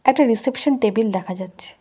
একটা reception table দেখা যাচ্ছে।